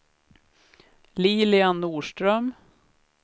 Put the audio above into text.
Lilian Norström